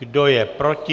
Kdo je proti?